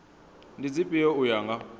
ndi dzifhio u ya nga